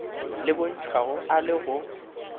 le bontšhwago a le go